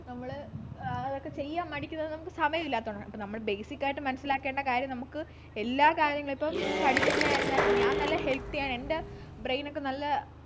നമ്മൾ ആഹ് അതൊക്കെ ചെയ്യാൻ മടിക്കുന്നത് നമുക്ക് സമയമില്ലാത്തതുകൊണ്ടാണ് അപ്പൊ നമ്മളു basic ആയിട്ട് മനസ്സിലാക്കേണ്ട കാര്യം നമുക്ക് എല്ലാ കാര്യങ്ങളും ഇപ്പൊ പഠിക്കുന്ന ആയിരുന്നാലും ഞാൻ നല്ല healthy യാണ് എൻ്റെ brain ക്കെ നല്ല ആഹ്